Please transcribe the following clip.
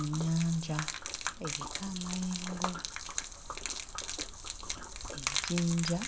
Ennyanja eriko amayengo ejjinja